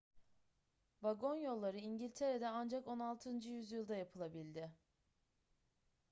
vagon yolları i̇ngiltere'de ancak 16. yüzyılda yapılabildi